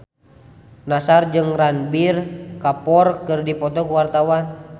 Nassar jeung Ranbir Kapoor keur dipoto ku wartawan